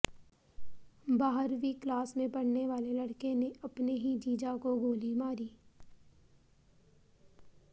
बाहरवीं class में पढ़ने वाले लड़के ने अपने ही जीजा को गोली मारी